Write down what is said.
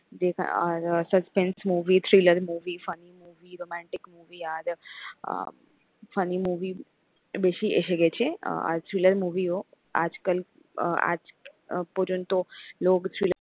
যেখা আর suspense movie, thriller movie, funny movie, romantic movie, আর আহ funny movie বেশি এসে গেছে আর thriller movie ও আজকাল আজ পর্যন্ত লোক thriller